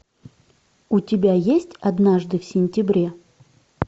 у тебя есть однажды в сентябре